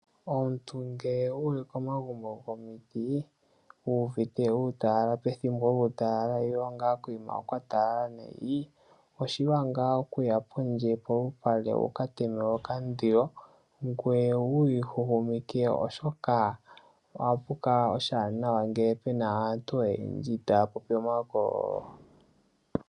Omuntu ngele wuli koomagumbo gomiiti wuuvite kwatalala pethimbo lyuutalala nenge nga kwatalala nayi oshiwanawa okuya pondje polupale wuka teme okandilo ngoye wu huhumukwe oshoka ohashi kala oshiwanawa ngele puna aantu oyendji taya popi omahokololo.